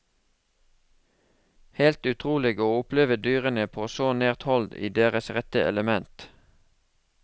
Helt utrolig å oppleve dyrene på så nært hold i deres rette element.